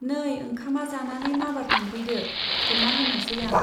नै ओंखामा जानानै माबार थांफैदो , खुरना होनोसै आं।